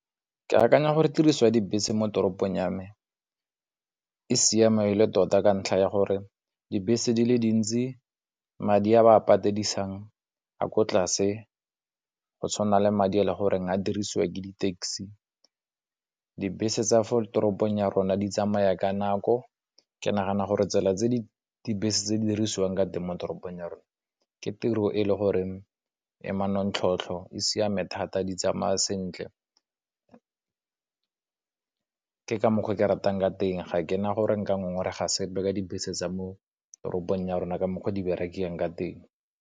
Ke akanya gore tiriso ya dibese mo toropong ya me e siama e le tota, ka ntlha ya gore dibese di le dintsi madi a ba a patedisang a ko tlase go tshwana le madi a le gore a dirisiwa ke di-taxi, dibese tsa fo toropong ya rona di tsamaya ka nako ke nagana gore tsela tse di dibese tse di dirisiwang ka teng mo toropong ya rona ke tiro e le gore emanontlhotlho, e siame thata di tsamaya sentle ke ka mokgwa o ke ratang ka teng ga kena gore nka ngongoreg ga sepe ka dibese tsa mo toropong ya rona ka mokgwa o di berekang ka teng.